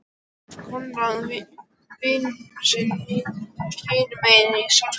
Konráð vin sinn hinum megin í salnum.